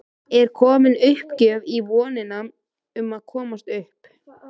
Er komin uppgjöf í vonina um að komast upp?